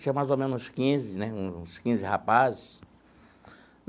Tinha mais ou menos uns quinze né, uns quinze rapazes.